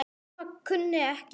Mamma kunni ekkert.